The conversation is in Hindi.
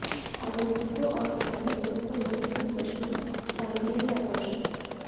आगंतुकों और स्थानीय लोगों को न केवल मशरूम स्थानों के लिए आकर्षक